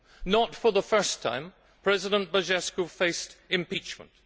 Not for the first time, President Băsescu faced impeachment.